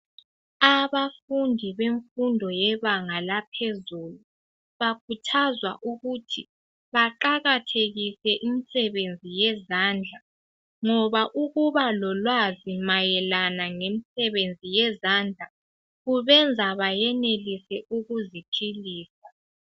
Abafundi bemfundo yebanga laphezulu bakhuthazwa ukuthi baqakathekise imisebenzi yezandla ngoba ukuba lolwazi mayelana ngemsebenzi yezandla kubenza bayenelise ukuziphilisa